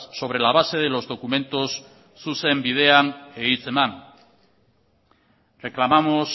sobre la base de los documentos zuzen bidean e hitzeman reclamamos